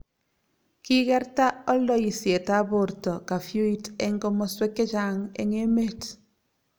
kikerta oldoisietab borto kafyuit eng' komoswek che chang' eng' emet